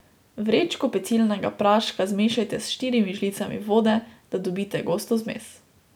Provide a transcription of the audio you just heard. Vrečko pecilnega praška zmešajte s štirimi žlicami vode, da dobite gosto zmes.